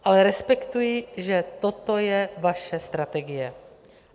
Ale respektuji, že toto je vaše strategie.